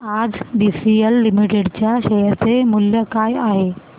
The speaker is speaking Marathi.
आज बीसीएल लिमिटेड च्या शेअर चे मूल्य काय आहे